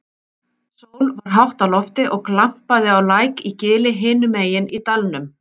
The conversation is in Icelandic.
Sól var hátt á lofti og glampaði á læk í gili hinum megin í dalnum.